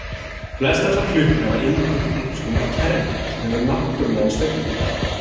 flestallar klukkur hafa innbyggt einhvers konar kerfi sem hefur náttúrlegan sveiflutíma